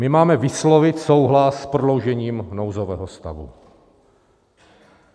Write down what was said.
My máme vyslovit souhlas s prodloužením nouzového stavu.